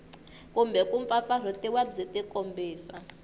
kumbe ku mpfampfarhutiwa byi tikombisa